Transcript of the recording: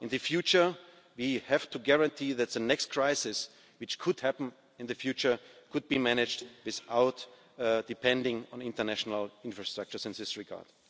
In the future, we have to guarantee that the next crisis which could happen in the future could be managed without depending on international infrastructure in this regard.